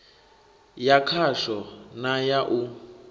ya khasho na ya u